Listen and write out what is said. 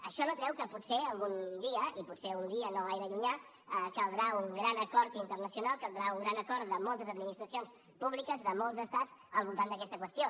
això no treu que potser algun dia i potser un dia no gaire llunyà caldrà un gran acord internacional caldrà un gran acord de moltes administracions públiques de molts estats al voltant d’aquesta qüestió